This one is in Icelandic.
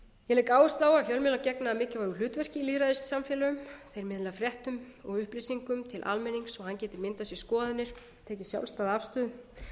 áherslu á að fjölmiðlar gegna mikilvægu hlutverki í lýðræðissamfélögum þeir miðla fréttum og upplýsingum til almennings svo hann geti myndað sér skoðanir tekið sjálfstæða afstöðu